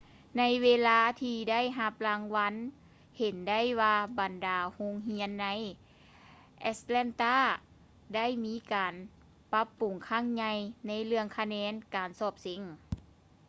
ໃນເວລາທີ່ໄດ້ຮັບລາງວັນ ເຫັນໄດ້ວ່າ ບັນດາໂຮງຮຽນໃນ ແອັດແລນຕາ atlanta ໄດ້ມີການປັບປຸງຄັ້ງໃຫຍ່ໃນເລື່ອງຄະແນນການສອບເສັງ